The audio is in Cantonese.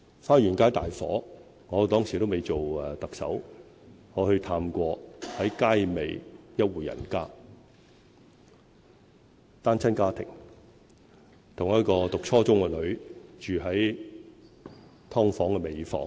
花園街大火發生時我尚未做特首，當時我探訪過街尾一戶人家，是單親家庭，有一名讀初中的女兒，他們住在"劏房"的尾房。